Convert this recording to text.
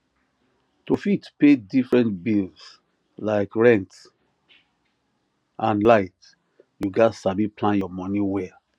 to fit pay differerent bills like rent and light you gats sabi plan your money well